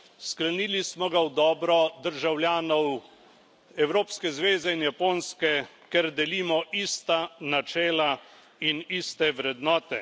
Sklenili smo ga v dobro državljanov evropske zveze in Japonske, ker delimo ista načela in iste vrednote.